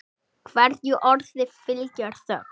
Hverju orði fylgir þögn.